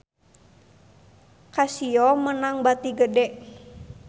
Casio meunang bati gede